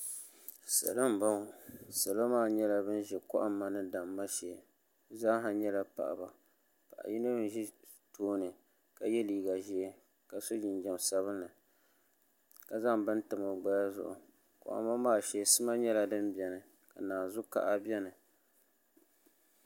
Salo n boŋo salo maa nyɛla bin ʒi kohamma ni damma shee bi zaaha nyɛla paɣaba paɣa yino n ʒi tooni ka yɛ liiga ʒiɛ ka so jinjɛm sabinli ka zaŋ bini tam o gbaya zuɣu kohamma maa shee sima nyɛla din biɛni ka naanzu kaha biɛni